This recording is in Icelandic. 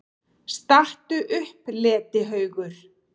STATTU UPP, LETIHAUGUR!